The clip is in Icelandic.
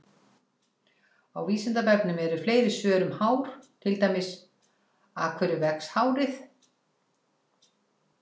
Á Vísindavefnum eru fleiri svör um hár, til dæmis: Af hverju vex hárið?